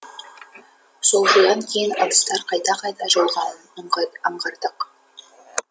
сол шудан кейін ыдыстар қайта қайта жуылғанын аңғардық